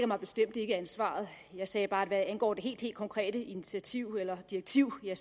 mig bestemt ikke ansvaret jeg sagde bare at hvad angår det helt helt konkrete initiativ eller direktiv er